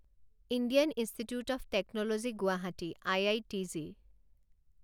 Indian institute of technology Guwahati I I T G